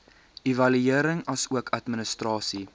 evaluering asook administrasie